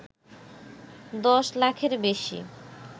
দশলাখের বেশি